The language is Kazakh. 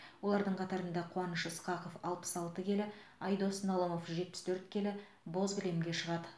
олардың қатарында қуаныш ысқақов алпыс алты келі айдос налымов жетпіс төрт келі боз кілемге шығады